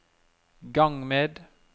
gang med